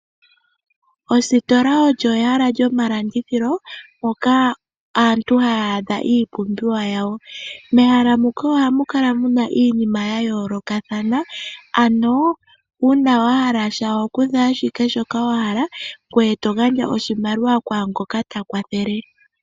Ositola olyo egala lyomalandithilo mpoka aantu haya adha iipumbiwa yawo. Mehala muka ogamu kala muna iinima ya yoolokathana, ano uuna wa hala sha ohokutha ashike shoka wahala ngoye togadja oshimaliwa kwaangoka takwathele.